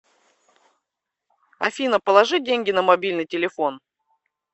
афина положи деньги на мобильный телефон